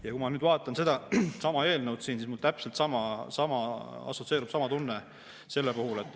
Ja kui ma nüüd vaatan sedasama eelnõu, siis mulle assotsieerub täpselt sama tunne.